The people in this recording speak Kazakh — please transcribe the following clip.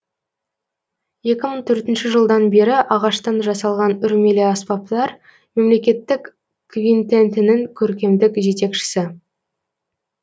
екі мың төртінші жылдан бері ағаштан жасалған үрмелі аспаптар мемлекеттік квинтетінің көркемдік жетекшісі